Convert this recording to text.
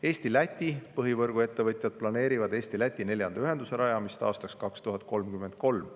Eesti ja Läti põhivõrguettevõtjad planeerivad Eesti-Läti neljanda ühenduse rajamist aastaks 2033.